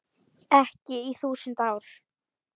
Ekki í þúsund ár.